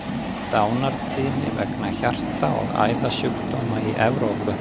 Dánartíðni vegna hjarta- og æðasjúkdóma í Evrópu.